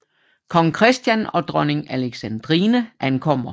Kong Christian og dronning Alexandrine ankommer